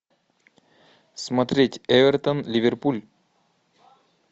смотреть эвертон ливерпуль